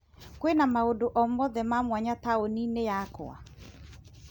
Kwĩna maũndũ o mothe ma mwanya taũni-inĩ yakwa?